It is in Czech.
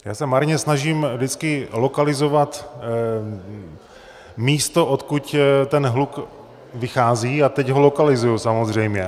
Já se marně snažím vždycky lokalizovat místo, odkud ten hluk vychází, a teď ho lokalizuji samozřejmě.